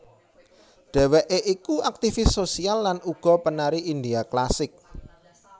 Dheweké iku aktifis sosial lan uga penari India klasik